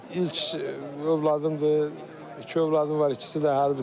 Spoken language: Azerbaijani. İlk övladımdır, iki övladım var, ikisi də hərbçidir.